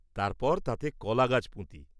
তারপর তাতে কলা গাছ পুঁতি।